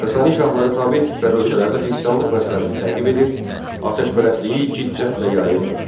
Sasani şahları tabe etdikləri ölkələrdə xristianlıq məzhəbini təqib edir, atəşpərəstliyi cidd-cəhdlə yayırdılar.